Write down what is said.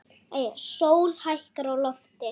Sól hækkar á lofti.